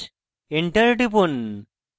enter টিপুন